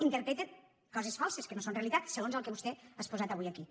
interpreten coses falses que no són realitat segons el que vostè ha exposat avui aquí